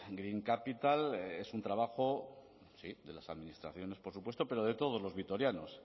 green capital es un trabajo de las administraciones por supuesto pero de todos los vitorianos